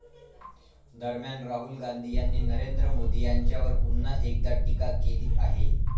दरम्यान, राहुल गांधी यांनी नरेंद्र मोदी यांच्यावर पुन्हा एकदा टीका केली आहे.